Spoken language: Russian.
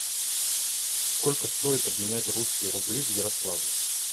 сколько стоит обменять русские рубли в ярославле